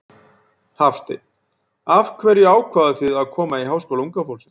Hafsteinn: Af hverju ákváðuð þið að koma í Háskóla unga fólksins?